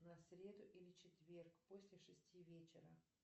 на среду или четверг после шести вечера